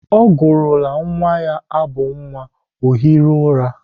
Ọ gụrụla nwa ya abụ nwa, ọ hiri ụra.